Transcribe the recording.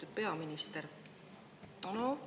Lugupeetud peaminister!